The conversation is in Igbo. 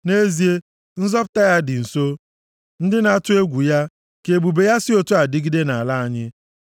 Nʼezie, nzọpụta ya dị nso + 85:9 \+xt Aịz 46:13\+xt* ndị na-atụ egwu ya, ka ebube ya si otu a dịgide nʼala anyị.